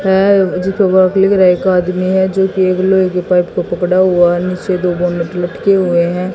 है आदमी है जोकि एक लोहे कि एक पाइप को पकड़ा हुआ है नीचे दो बोनट लटके हुए हैं।